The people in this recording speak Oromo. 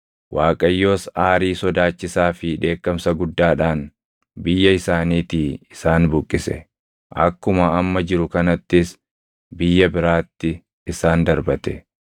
Waaqayyos aarii sodaachisaa fi dheekkamsa guddaadhaan biyya isaaniitii isaan buqqise; akkuma amma jiru kanattis biyya biraatti isaan darbate.”